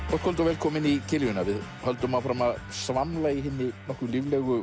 kvöld og velkomin í kiljuna við höldum áfram að svamla í hinni nokkuð líflegu